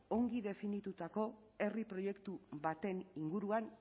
ongi definitutako herri proiektu baten inguruan